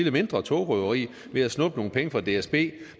et mindre togrøveri ved at snuppe nogle penge fra dsb